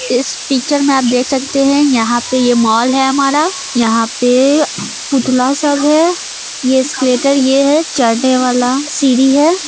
इस पिक्चर में आप देख सकते है यहां पे ये मॉल है हमारा यहां पे पुतला सब है यह एस्केलेटर ये है चढ़ने वाला सीढ़ी है।